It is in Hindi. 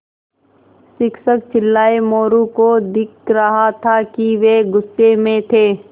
शिक्षक चिल्लाये मोरू को दिख रहा था कि वे गुस्से में थे